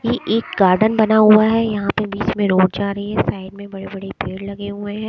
ये एक गार्डन बना हुआ है यहां पे बीच में रोड जा रही है साइड में बड़े बड़े पेड़ लगे हुए है।